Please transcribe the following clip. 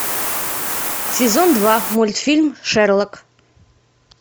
сезон два мультфильм шерлок